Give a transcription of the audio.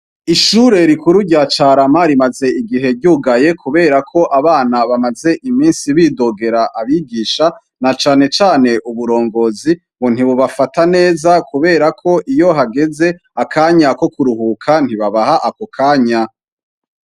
Ishure rikuru rya Carama rimaze igihe ryugaye kubera ko abana bamaze iminsi bidogera abigisha, na canecane uburongozi ngo ntibubafata neza, kubera ko iyo hageze akanya ko kuruhuka ntibabaha ako kanya.